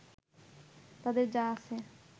তাদের যা আছে